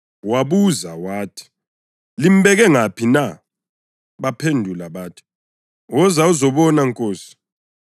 Wabuza wathi, “Limbeke ngaphi na?” Baphendula bathi, “Woza uzobona Nkosi.”